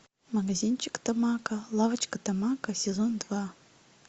магазинчик тамако лавочка тамако сезон два